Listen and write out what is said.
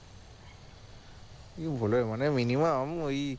মানে minimum ওই